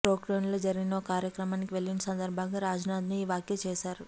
పోఖ్రాన్లో జరిగిన ఓ కార్యక్రమానికి వెళ్లిన సందర్భంగా రాజ్నాథ్ ఈ వ్యాఖ్య చేశారు